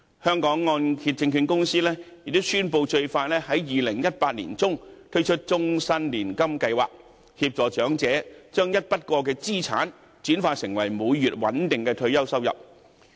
香港按揭證券有限公司亦宣布，最快會在2018年年中推出終身年金計劃，協助長者把一筆過資產轉化成為每月穩定的退休收入。